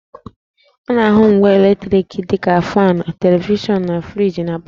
A na-ahụ ngwa eletriki dị ka faanụ, televishọnụ, na friji na palọ